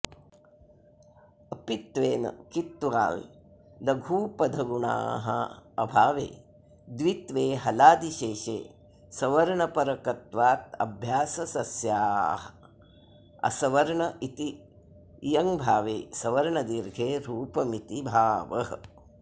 अपित्त्वेन कित्त्वाल्लघूपधगुणाऽभावे द्वित्वे हलादिशेषे सवर्णपरकत्वादभ्याससस्याऽसवर्ण इति इयङभावे सवर्णदीर्घे रूपमिति भावः